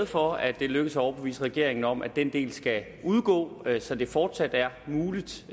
for at det er lykkedes at overbevise regeringen om at den del skal udgå så det fortsat er muligt